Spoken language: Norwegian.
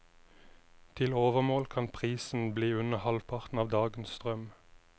Til overmål kan prisen bli under halvparten av dagens strøm.